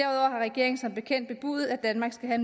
har regeringen som bekendt bebudet at danmark skal have